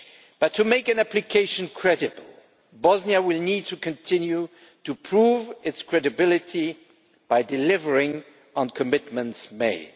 But to make an application credible, Bosnia will need to continue to prove its credibility by delivering on commitments made.